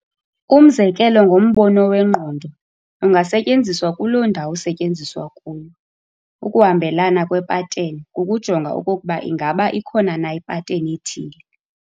Umzekelo ngombono wengqondo, ungasetyenziswa kuloo ndawo usetyenziswa kuyo. ukuhambelana kweepattern kukujonga okokuba ingaba ikhona na ipattern ethile.